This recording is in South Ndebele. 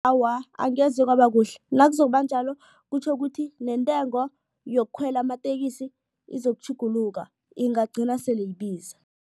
Awa, angeze kwaba kuhle nakuzokuba njalo kutjho ukuthi nentengo yokukhwela amatekisi izokutjhuguluka ingagcine sele ibiza.